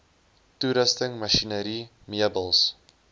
toerusting masjinerie meubels